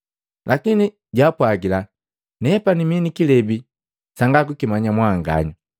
Lakini jaapwagila, “Nepani mii ni kilebi sangakukimanya mwanganya.”